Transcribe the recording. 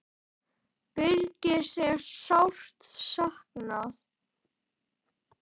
Birgis er sárt saknað.